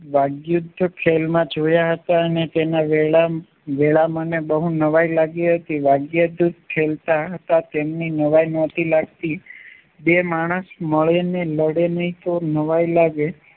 ખેલમા જોયા હતા એને તેના વેલાઓને બહુ નવાય લાગી હતી તેમની નાઈ નોતી લાગતી બે માણસ મળીને લડે ના તો નવાઈ લાગે